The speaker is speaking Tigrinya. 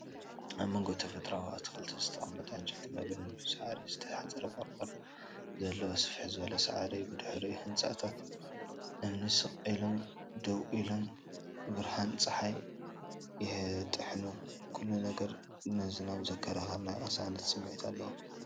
ኣብ መንጎ ተፈጥሮኣዊ ኣትክልቲ ዝተቐመጠ ዕንጨይቲ መንበርን ብሳዕሪ ዝተሰርሐ ቆርቆሮን ዘለዎ ስፍሕ ዝበለ ሳዕሪ እዩ። ብድሕሪኡ ህንጻታት እምኒ ስቕ ኢሎም ደው ኢሎም ብርሃን ጸሓይ ይጥሕሉ። ኩሉ ነገር ንዝናብ ዘዘኻኽር ናይ ቅሳነት ስምዒት ኣለዎ።